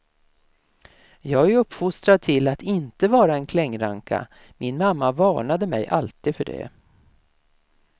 Jag är uppfostrad till att inte vara en klängranka, min mamma varnade mig alltid för det.